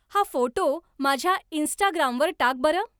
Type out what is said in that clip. हा फोटो माझ्या इन्स्टाग्रामवर टाक बरं